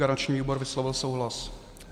Garanční výbor vyslovil souhlas.